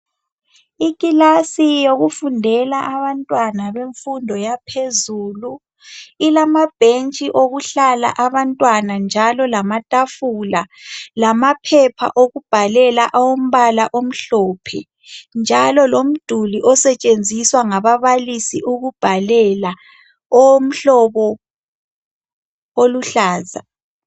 Ikilasi yokufundela abantwana bemfundo yaphezulu ilamabhentshi okuhlala abantwana njalo lamatafula lamaphepha okubhalela awombala omhlophe njalo lomduli osetshenziswa ngababalisi ukubhalela owomhlobo oluhlaza.